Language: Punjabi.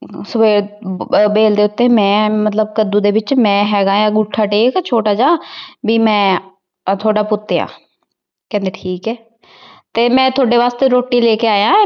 ਫਿਰ ਅਹ ਬੇਲ ਦੇ ਉੱਤੇ ਮੈਂ ਮਤਲੱਬ ਕੱਦੂ ਦੇ ਵਿੱਚ ਮੈ ਹੈਗਾ, ਅੰਗੂਠਾ ਟੇਕ ਛੋਟਾ ਜਾ। ਬੀ ਮੈ ਥੋਡਾ ਪੁੱਤ ਆ। ਕਹਿੰਦੇ ਠੀਕ ਐ। ਤੇ ਮੈ ਥੋਡੇ ਵਾਸਤੇ ਰੋਟੀ ਲੈ ਕੇ ਆਇਆ।